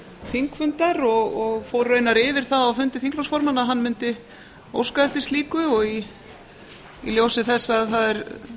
þingfundar og fór raunar yfir það á fundi þingflokksformanna að hann mundi óska eftir slíku í ljósi þess að það er